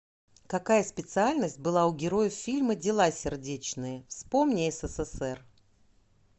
какая специальность была у героев фильма дела сердечные вспомни ссср